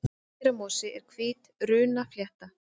Hreindýramosi er hvít runnaflétta.